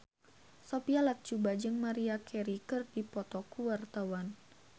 Sophia Latjuba jeung Maria Carey keur dipoto ku wartawan